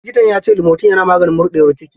Likitan ya ce limotin yana maganin murɗar ciki.